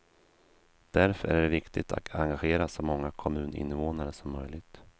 Därför är det viktigt att engagera så många kommuninvånare som möjligt.